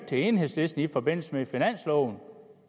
til enhedslisten i forbindelse med finansloven